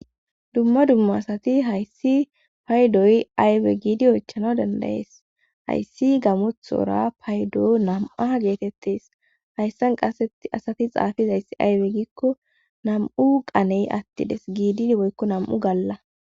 Dumma dumma asati hayssi paydoy aywe giidi oychana dandayees hayssi gamothora paydo nam'a geetettes hayssan qaseti asati xaafizayss aywe gikko nam7u qaney attides giidi woykko nam'u galla.